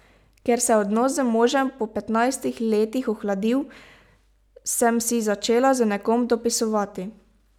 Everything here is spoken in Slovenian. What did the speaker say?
Ker se je odnos z možem po petnajstih letih ohladil, sem si začela z nekom dopisovati.